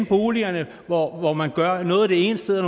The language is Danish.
boligerne hvor hvor man gør noget det ene sted og